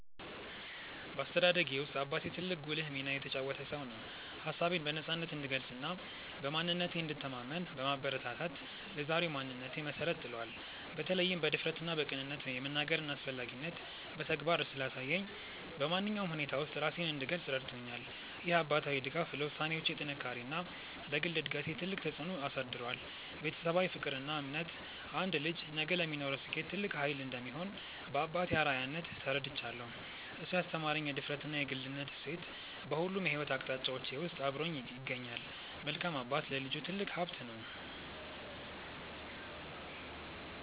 በአስተዳደጌ ውስጥ አባቴ ትልቅና ጉልህ ሚና የተጫወተ ሰው ነው። ሀሳቤን በነፃነት እንድገልጽና በማንነቴ እንድተማመን በማበረታታት ለዛሬው ማንነቴ መሰረት ጥሏል። በተለይም በድፍረትና በቅንነት የመናገርን አስፈላጊነት በተግባር ስላሳየኝ፣ በማንኛውም ሁኔታ ውስጥ ራሴን እንድገልጽ ረድቶኛል። ይህ አባታዊ ድጋፍ ለውሳኔዎቼ ጥንካሬና ለግል እድገቴ ትልቅ ተጽዕኖ አሳድሯል። ቤተሰባዊ ፍቅርና እምነት አንድ ልጅ ነገ ለሚኖረው ስኬት ትልቅ ኃይል እንደሚሆን በአባቴ አርአያነት ተረድቻለሁ። እሱ ያስተማረኝ የድፍረትና የግልነት እሴት በሁሉም የሕይወት አቅጣጫዎቼ ውስጥ አብሮኝ ይገኛል። መልካም አባት ለልጁ ትልቅ ሀብት ነው።